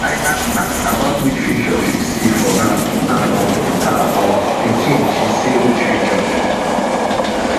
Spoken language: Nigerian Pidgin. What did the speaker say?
i aks i aks about which future she see for her and um her um pikin she say which future